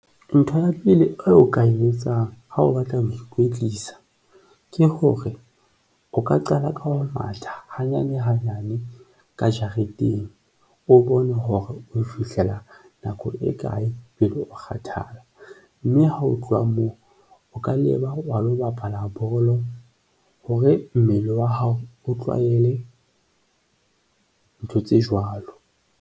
Ntho ya pele o ka e etsang ha o batla ho ikwetlisa ke hore o ka qala ka ho matha hanyane hanyane ka jareteng, o bone hore ho fihlela neng, nako e kae pele o kgathala, mme ha ho tloha moo o ka leba wa lo bapala bolo hore mmele wa hao o tlwahele ntho tse jwalo.